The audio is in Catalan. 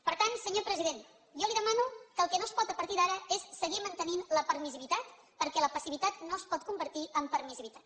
per tant senyor president jo li demano que el que no es pot a partir d’ara és seguir mantenint la permissivitat perquè la passivitat no es pot convertir en permissivitat